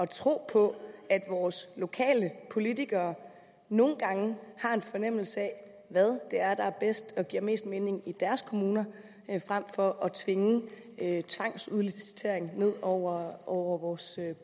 tro på at vores lokale politikere nogle gange har en fornemmelse af hvad det er der er bedst og giver mest mening i deres kommuner frem for at tvinge tvangsudlicitering ned over over vores